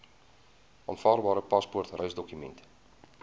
aanvaarbare paspoort reisdokument